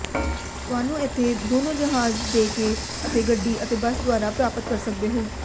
ਤੁਹਾਨੂੰ ਇੱਥੇ ਦੋਨੋ ਜਹਾਜ਼ ਦੇ ਕੇ ਅਤੇ ਗੱਡੀ ਅਤੇ ਬੱਸ ਦੁਆਰਾ ਪ੍ਰਾਪਤ ਕਰ ਸਕਦੇ ਹੋ